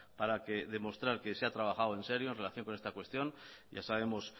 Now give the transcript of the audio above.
para demostrar que se ha trabajado en serio en relación con esta cuestión ya sabemos